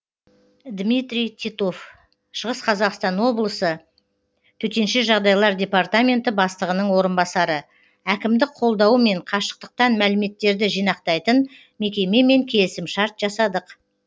дмитрий титов шығыс қазақстан облысы төтенше жағдайлар департаменті бастығының орынбасары әкімдік қолдауымен қашықтықтан мәліметтерді жинақтайтын мекемемен келісімшарт жасадық